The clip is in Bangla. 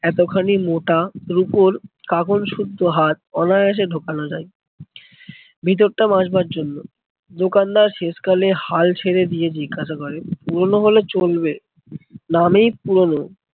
এতখানি মোটা রুপোর কাঁকন শুদ্ধ হাত অনায়াসে ঢোকানো যায় ভিতরটা মাজবার জন্য। দোকানদার শেষকালে হাল ছেড়ে দিয়ে জিজ্ঞাসা করে পুরোনো হলে চলবে? নামেই পুরোনো